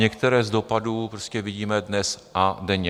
Některé z dopadů prostě vidíme dnes a denně.